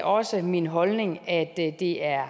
også min holdning at det er